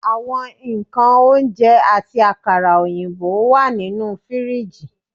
Awọn nkan ounjẹ, ati akara oyinbo wa ninu firiji